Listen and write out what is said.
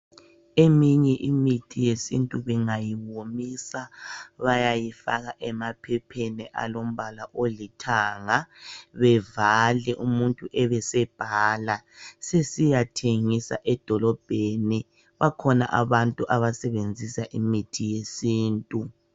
Eminye imithi yesintu bengayiwomisa bayayifaka emaphepheni alombala olithanga, bevale umuntu ebe sebhala sesiyathengisa edolobheni. Bakhona abantu abasebenzisa imithi yesintu.